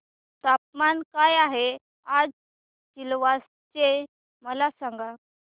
तापमान काय आहे आज सिलवासा चे मला सांगा